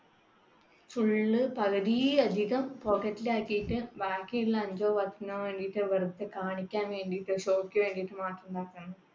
full പകുതിയിലധികം pocket ലാക്കിയിട്ട് ബാക്കിയുള്ള അഞ്ചോ പത്തിനോവേണ്ടിയിട്ട് വെറുതെ കാണിക്കാൻ വേണ്ടിയിട്ട് show ക്കുവേണ്ടിയിട്ട് മാത്രം